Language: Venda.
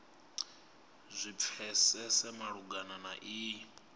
zwi pfesese malugana na iyi